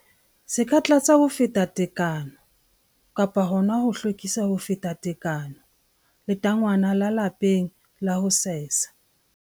Se ka tlatsa ho feta tekano kapa hona ho hlwekisa ho feta tekano letangwana la lapeng la ho sesa.